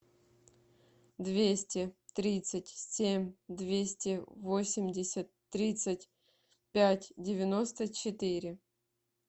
двести тридцать семь двести восемьдесят тридцать пять девяносто четыре